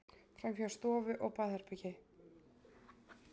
Framhjá stofu og baðherbergi.